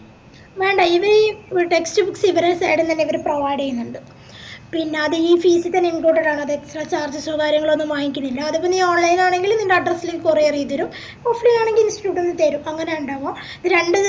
വേണ്ട ഇത് text books ഇവരെ side ന്നന്നെ ഇവര് provide ചെയ്യുന്നുണ്ട് പിന്നാ അത്‌ ഈ fees തന്നെ imported ആണ് extra charges കാര്യങ്ങളൊന്നും വാങ്ങിക്കുന്നില്ല അതേപോലെ online ആണെങ്കിൽ നിൻറെ address ലേക്ക് courier ചെയ്തേരും offline ലാണെങ്കിൽ institute തെരും അങ്ങനാ ഇണ്ടവ